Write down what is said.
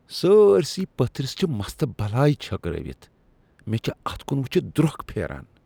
سٲرۍسٕے پٔتھرس چھ مستہٕ بلاے چھٔکرٲوتھ۔ مےٚ چھےٚ اتھ کن وٕچھتھ درٛۄکھ پھیران۔